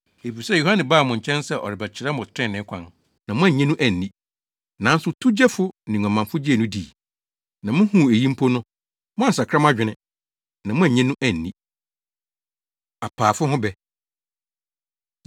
Efisɛ Yohane baa mo nkyɛn sɛ ɔrebɛkyerɛ mo trenee kwan, na moannye no anni. Nanso towgyefo ne nguamanfo gyee no dii. Na muhuu eyi mpo no, moansakra mo adwene, na moannye no anni.” Apaafo Ho Bɛ